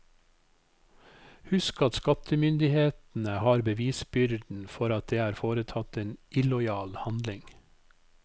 Husk at skattemyndighetene har bevisbyrden for at det er foretatt en illojal handling.